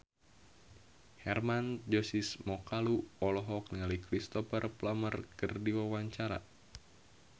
Hermann Josis Mokalu olohok ningali Cristhoper Plumer keur diwawancara